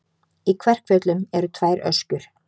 Í Kverkfjöllum eru tvær öskjur.